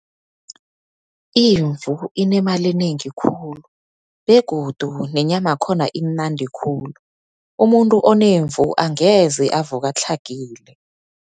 Imvu inemali enengi khulu, begodu nenyama yakhona imnandi khulu. Umuntu onemvu angeze avuka atlhagile.